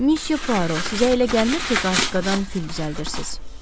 Missiyaro, sizə elə gəlmir ki, qarışqadan fil düzəldirsiz?